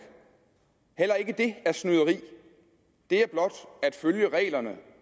heller ikke det er snyderi det er blot at følge reglerne